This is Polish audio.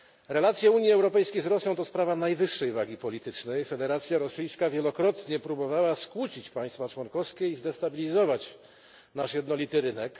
Relacje Unii Europejskiej z Rosją to sprawa najwyższej wagi politycznej, Federacja Rosyjska wielokrotnie próbowała skłócić państwa członkowskie i zdestabilizować nasz jednolity rynek.